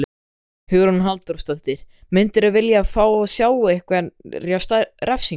Hugrún Halldórsdóttir: Myndirðu vilja fá að sjá einhverja refsingu?